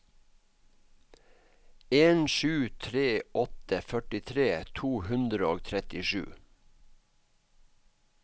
en sju tre åtte førtitre to hundre og trettisju